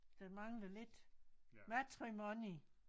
Der mangler lidt matrimony